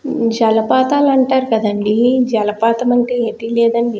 జలపాతాలు అంటారు కదండీ జలపాతం అంటే ఏటి లేదండి --